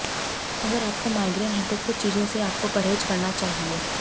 अगर आपको माइग्रेन है तो कुछ चीजों से आपको परहेज करना चाहिए